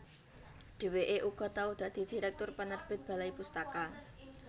Dhèwèké uga tau dadi direktur penerbit Balai Pustaka